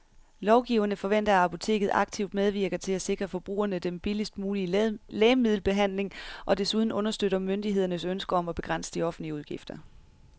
Lovgiverne forventer, at apoteket aktivt medvirker til at sikre forbrugerne den billigst mulige lægemiddelbehandling og desuden understøtter myndighedernes ønske om at begrænse de offentlige udgifter.